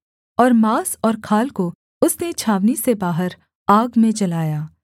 और माँस और खाल को उसने छावनी से बाहर आग में जलाया